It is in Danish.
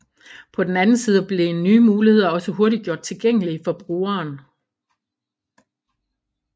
På den anden side bliver nye muligheder også hurtigt gjort tilgængelige for brugeren